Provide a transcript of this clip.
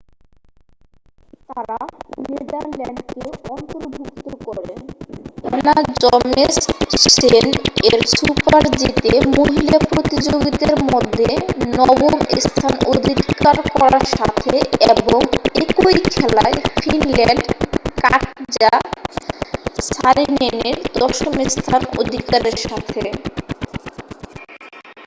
তারা নেদারল্যান্ডকে অন্তর্ভুক্ত করে অ্যানা জচেমসেন এর super-g তে মহিলা প্রতিযোগীদের মধ্যে নবম স্থান অধিকার করার সাথে এবং একই খেলায় ফিনল্যান্ড কাটজা সারিনেনের দশম স্থান অধিকারের সাথে